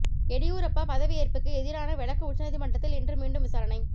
எடியூரப்பா பதவி ஏற்புக்கு எதிரான வழக்கு உச்சநீதிமன்றத்தில் இன்று மீண்டும் விசாரணை